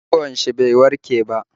Ciwon shi bai warke ba